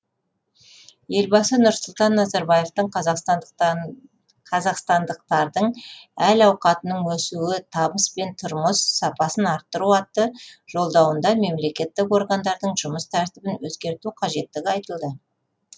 елбасы нұрсұлтан назарбаевтың қазақстандықтардың әл ауқатының өсуі табыс пен тұрмыс сапасын арттыру атты жолдауында мемлекеттік органдардың жұмыс тәртібін өзгерту қажеттігі айтылды